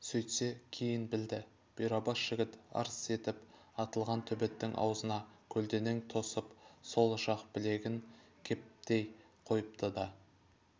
сөйтсе кейін білді бұйрабас жігіт арс етіп атылған төбеттің аузына көлденең тосып сол жақ білегін кептей қойыпты да